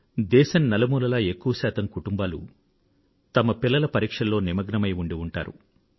దేశం నలుమూలలా ఎక్కువ శాతం కుటుంబాలు వారి పిల్లల పరీక్షలలో నిమగ్నమై ఉండి ఉంటారు